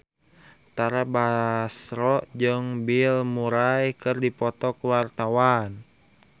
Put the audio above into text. Tara Basro jeung Bill Murray keur dipoto ku wartawan